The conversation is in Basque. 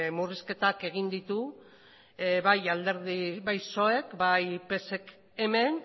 murrizketak egin ditu bai psoek bai psek hemen